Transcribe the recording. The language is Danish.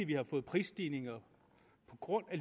vi har fået prisstigninger på grund af